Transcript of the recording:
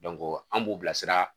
an b'u bila sira.